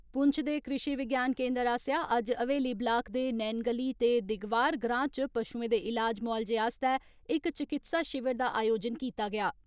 पुंछ दे कृषि विज्ञान केन्द्र आस्सेआ अज्ज हवेली ब्लाक दे नेनगली ते दिगवार ग्रां च पशुएं दे इलाज मुआलजे आस्तै इक चिकित्सा शिविर दा आयोजन कीता गेआ।